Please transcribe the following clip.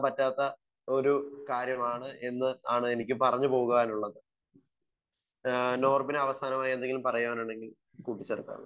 Speaker 1 പറ്റാത്ത ഒരു കാര്യമാണ് എന്ന് ആണ് എനിക്ക് പറഞ്ഞു പോകാനുള്ളത്. ഏഹ് നോർബിന് അവസാനമായി എന്തെങ്കിലും പറയാനുണ്ടെങ്കിൽ കൂട്ടി ചേർക്കാവുന്നതാണ്.